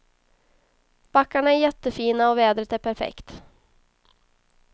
Backarna är jättefina och vädret är perfekt.